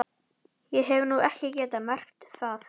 Ég hef nú ekki getað merkt það.